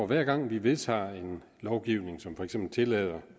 hver gang vi vedtager en lovgivning som for eksempel tillader